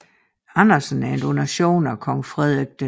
Andersen en donation af kong Frederik 6